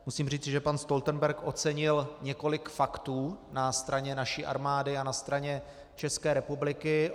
Musím říci, že pan Stoltenberg ocenil několik faktů na straně naší armády a na straně České republiky.